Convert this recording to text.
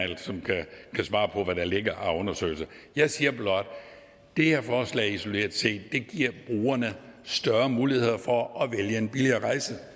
kan svare på hvad der ligger af undersøgelser jeg siger blot at det her forslag isoleret set giver brugerne større muligheder for at vælge en billigere rejse